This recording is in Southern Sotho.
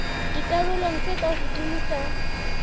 dikarolong tse ka hodimo tsa